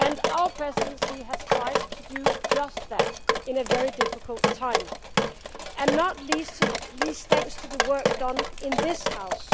Our Presidency has tried to do just that at a very difficult time, not least thanks to the work done in this House.